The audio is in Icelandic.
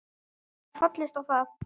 Ég gat fallist á það.